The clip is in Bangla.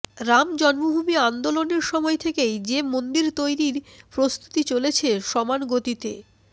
রাম জন্মভূমি আন্দোলনের সময় থেকেই যে মন্দির তৈরির প্রস্তুতি চলেছে সমান গতিতে